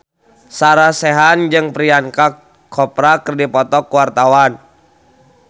Sarah Sechan jeung Priyanka Chopra keur dipoto ku wartawan